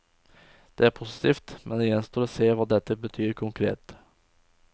Det er positivt, men det gjenstår å se hva dette betyr konkret.